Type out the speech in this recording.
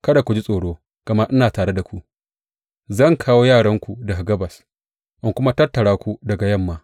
Kada ku ji tsoro, gama ina tare da ku; zan kawo yaranku daga gabas in kuma tattara ku daga yamma.